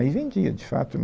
Aí vendia, de fato.